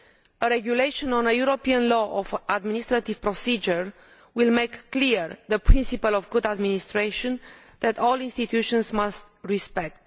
A regulation on a European law of administrative procedure will make clear the principal of good administration that all institutions must respect.